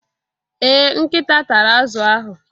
Ee Nkita tara azu ahụ